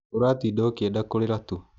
Ũratinda ũkienda kũrĩra tu.